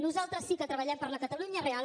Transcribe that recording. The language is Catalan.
nosaltres sí que treballem per la catalunya real